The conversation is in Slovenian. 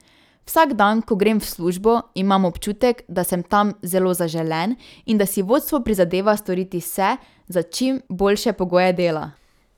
Vsak dan, ko grem v službo, imam občutek, da sem tam zelo zaželen in da si vodstvo prizadeva storiti vse za čim boljše pogoje dela.